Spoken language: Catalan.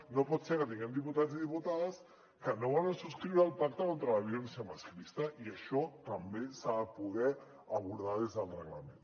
no pot ser que tinguem diputats i diputades que no volen subscriure el pacte contra la violència masclista i això també s’ha de poder abordar des del reglament